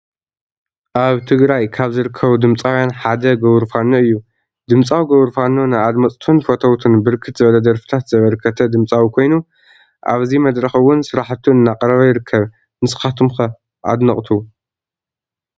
አብ ትግራይ ካብ ዝርከቡ ድምፃውያን ሓደ ገቡሩ ፋኖ እዩ ። ድምፃዊ ገቡሩ ፋኖ ንአድመፅቱን ፈተውቱን ብርክት ዝበለ ደርፊታት ዘበርከተ ድምፃዊ ኮይኑ አብዚ መድርክ እውን ስራሕቱ እናቅረበ ይርከብ። ንስካትኩም ከ አድነቅቱ ?